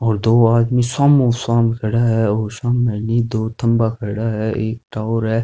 और दो आदमी सामो साम खड़ा है और साम है नि दो थंबा खड़ा है एक टॉवर है।